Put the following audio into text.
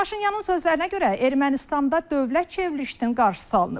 Paşinyanın sözlərinə görə, Ermənistanda dövlət çevrilişinin qarşısı alınıb.